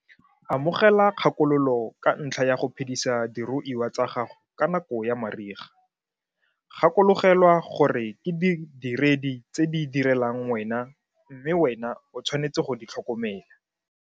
Amogela kgakololo ka ntlha ya go phedisa diruiwa tsa gago ka nako ya mariga gakologelwa gore ke didiredi tse di direlang wena mme wena o tshwanetse go di tlhokomela.